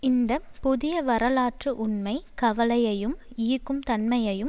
இந்த புதிய வரலாற்று உண்மை கவலையையும் ஈர்க்கும் தன்மையையும்